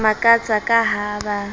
ba makatsa ka ha ba